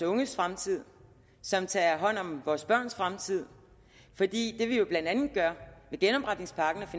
unges fremtid som tager hånd om vore børns fremtid fordi det vi jo blandt andet gør med genopretningspakken